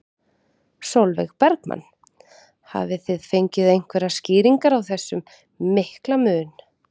Sólveig Bergmann: Hafið þið fengið einhverjar skýringar á þessum mikla mun?